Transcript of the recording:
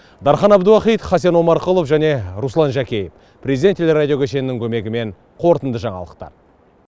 дархан әбдуахит хасен омарқұлов және руслан жәкеев президент телерадио кешенінің көмегімен қорытынды жаңалықтар